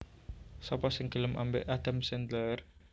Sopo sing gelem ambek Adam Sandler